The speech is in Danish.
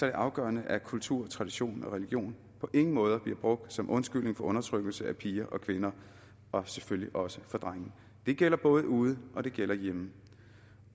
det afgørende at kultur tradition og religion på ingen måde bliver brugt som undskyldning for undertrykkelse af piger og kvinder og selvfølgelig også drenge det gælder både ude og det gælde hjemme